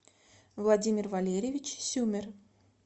владимир валерьевич сюмер